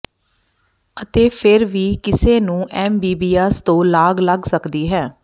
ਅਤੇ ਫਿਰ ਵੀ ਕਿਸੇ ਨੂੰ ਐਮਿਬੀਆਿਸ ਤੋਂ ਲਾਗ ਲੱਗ ਸਕਦੀ ਹੈ